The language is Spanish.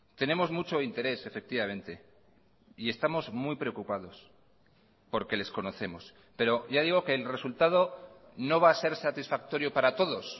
tenemos mucho interés efectivamente y estamos muy preocupados porque les conocemos pero ya digo que el resultado no va a ser satisfactorio para todos